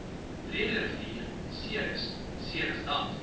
breederivier ceres ceresdam